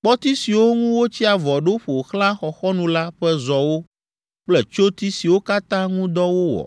kpɔti siwo ŋu wotsi avɔ ɖo ƒo xlã xɔxɔnu la ƒe zɔwo kple tsyoti siwo katã ŋu dɔ wowɔ